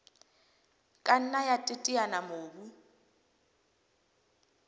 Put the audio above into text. ka nna ya teteanya mobu